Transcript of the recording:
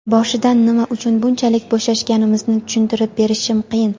Boshidan nima uchun bunchalik bo‘shashganimizni tushuntirib berishim qiyin.